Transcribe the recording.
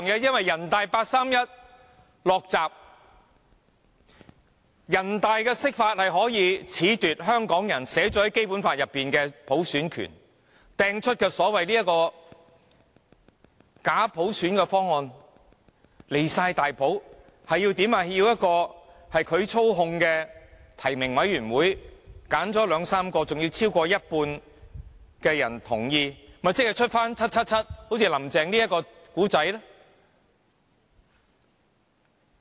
因為人大八三一"落閘"，人大的釋法可以褫奪《基本法》規定香港人享有的普選權，拋出假普選的方案，過分至極，要一個由他們操控的提名委員會挑選兩三名候選人，還要有超過一半人同意，豈不是會產生 "777"" 林鄭"這一個故事。